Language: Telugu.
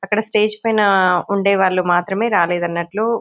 అక్కడ స్టేజి పైన ఉండే వాళ్ళు మాత్రమే రాలేదన్నట్లు.